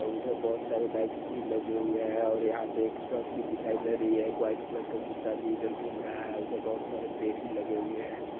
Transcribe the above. उधर बहुत सारे बाइक भी लगे हुए हैं और यहां पर एक ट्रक भी दिखाई दे रही है। वाइट कलर का कुत्ता भी इधर घूम रहा है। उधर बहुत सारे पेड़ भी लगे हुए हैं।